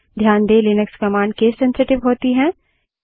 ध्यान दें Linux command case sensitive होती हैं